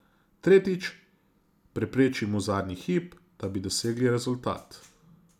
Tretjič, prepreči mu zadnji hip, da bi dosegel rezultat.